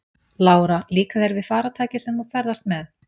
Lára: Líkar þér við farartækið sem þú ferðast með?